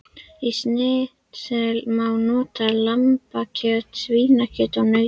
Í snitsel má nota lambakjöt, svínakjöt og nautakjöt.